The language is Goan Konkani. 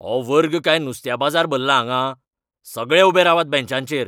हो वर्ग काय नुस्त्या बाजार भल्ला हांगां? सगळे उबे रावात बँचांचेर!